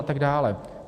A tak dále.